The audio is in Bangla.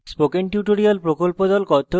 কথ্য tutorial প্রকল্প the